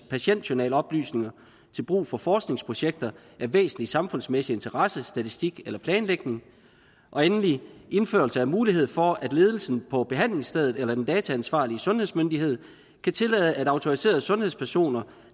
patientjournaloplysninger til brug for forskningsprojekter af væsentlig samfundsmæssig interesse statistik eller planlægning og endelig indførelse af mulighed for at ledelsen på behandlingsstedet eller den dataansvarlige sundhedsmyndighed kan tillade at autoriserede sundhedspersoner